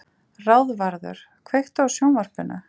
Ráðvarður, kveiktu á sjónvarpinu.